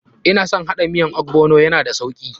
Ina son haɗa miyan ogbono, ya na da sauki.